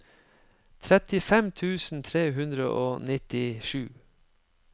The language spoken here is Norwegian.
trettifem tusen tre hundre og nittisju